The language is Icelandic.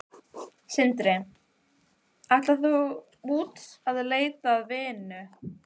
Sindri: Ætlar þú út að leita að vinnu?